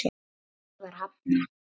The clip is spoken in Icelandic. Því var hafnað.